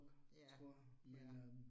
Ja, ja